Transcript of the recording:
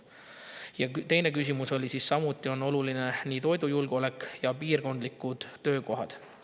Teine küsimus: " Samuti on olnud oluline nii toidujulgeolek ja piirkondlikud töökohad.